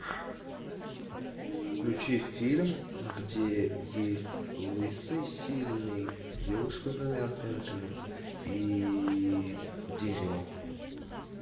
включи фильм где есть лысый сильный девушка с двумя антеннками и дерево